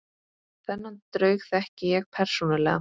Þennan draug þekki ég persónulega.